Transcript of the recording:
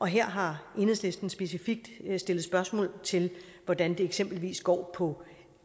her har enhedslisten specifikt stillet spørgsmål til hvordan det eksempelvis går på